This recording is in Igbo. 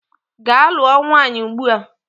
Gaa lụọ nwaanyị ugbua!